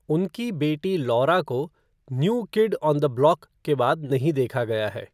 उनकी बेटी लौरा को "new kid on the block" के बाद नहीं देखा गया है।